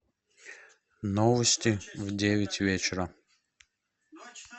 новости в девять вечера